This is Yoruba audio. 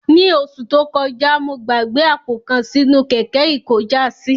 Ní oṣù tó kojá, mo gbàgbé àpò kan sínú kẹ̀kẹ́ ikojásí